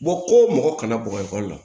ko mɔgɔ kana bɔ ka ekɔli la